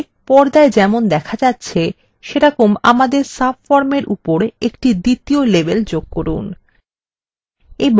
একইভাবে পর্দায় যেমন দেখা যাচ্ছে সেভাবে আমাদের subformএর উপরে একটি দ্বিতীয় label যোগ করুন